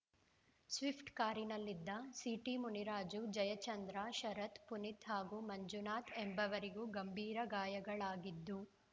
Swift ಕಾರಿನಲ್ಲಿದ್ದ ಸಿಟಿಮುನಿರಾಜು ಜಯಚಂದ್ರ ಶರತ್‌ ಪುನಿತ್‌ ಹಾಗೂ ಮಂಜುನಾಥ್‌ ಎಂಬವರಿಗೂ ಗಂಭೀರ ಗಾಯಗಳಾಗಿದ್ದು